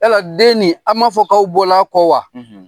Yala den ni aw ma fɔ k'aw bɔla kɔ wa